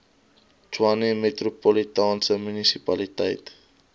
tshwane metropolitaanse munisipaliteit